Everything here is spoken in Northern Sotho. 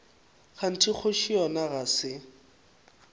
kganthe kgoši yona ga se